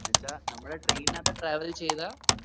എന്ന് വെച്ച നമ്മളെ train നത്ത് travel ചെയ്താ